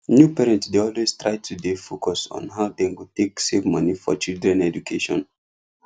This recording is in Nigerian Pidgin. new parents dey always try to dey focus on how dem go take save money for children education